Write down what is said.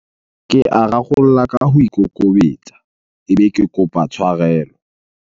Ke a rarolla ka ho ikokobetsa, ebe ke kopa tshwarelo.